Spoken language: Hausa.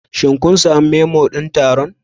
Shin kun sami Memo din taron?